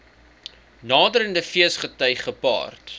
naderende feesgety gepaard